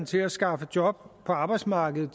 til at skaffe job på arbejdsmarkedet